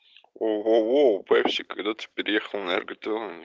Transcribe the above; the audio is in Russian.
воу воу воу пепси когда ты переехал на р гта ни